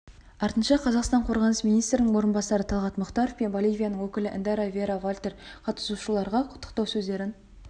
артынша қазақстан қорғаныс министрінің орынбасары талғат мұхтаров пен боливияның өкілі эндара вера валтер қатысушыларға құттықтау сөздерін